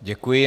Děkuji.